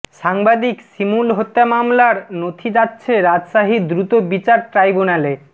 সাংবাদিক শিমুল হত্যা মামলার নথি যাচ্ছে রাজশাহী দ্রুত বিচার ট্রাইবুন্যালে